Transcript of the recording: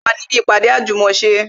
Mo wà ní ibi ìpàdé àjùmòse